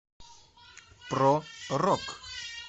про рок